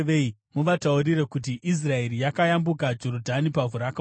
muvataurire kuti, ‘Israeri yakayambuka Jorodhani pavhu rakaoma.’